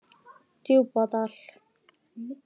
Djúpadal